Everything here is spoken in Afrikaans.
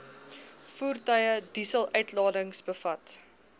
voertuie dieseluitlatings bevat